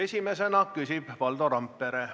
Esimesena küsib Valdo Randpere.